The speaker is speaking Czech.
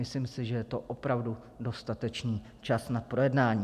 Myslím si, že je to opravdu dostatečný čas na projednání.